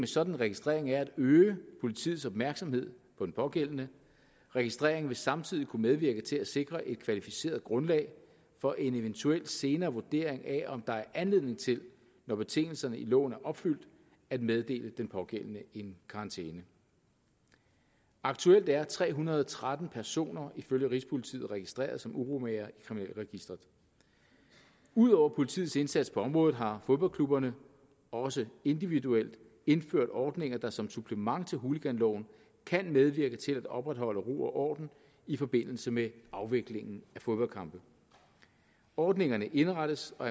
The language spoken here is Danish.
sådan registrering er at øge politiets opmærksomhed på den pågældende registreringen vil samtidig kunne medvirke til at sikre et kvalificeret grundlag for en eventuel senere vurdering af om der er anledning til når betingelserne i loven er opfyldt at meddele den pågældende en karantæne aktuelt er tre hundrede og tretten personer ifølge rigspolitiet registreret som uromagere i kriminalregisteret ud over politiets indsats på området har fodboldklubberne også individuelt indført ordninger der som supplement til hooliganloven kan medvirke til at opretholde ro og orden i forbindelse med afviklingen af fodboldkampe ordningerne indrettes og